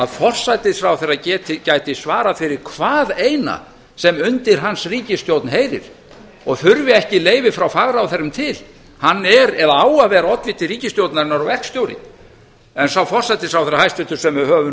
forsætisráðherra gæti svarað fyrir hvað eina sem undir hans ríkisstjórn heyrir og þurfi ekki leyfi frá fagráðherrum til hann er eða á að vera oddviti ríkisstjórnarinnar og verkstjóri en sá forsætisráðherra hæstvirtur sem við höfum